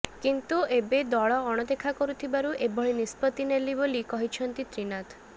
କିନ୍ତୁ ଏବେ ଦଳ ଅଣଦେଖା କରିଥିବାରୁ ଏଭଳି ନିଷ୍ପତି ନେଲି ବୋଲି କହିଛନ୍ତି ତ୍ରିନାଥ